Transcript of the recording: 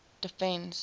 defence